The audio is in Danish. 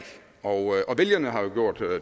og vælgerne har jo gjort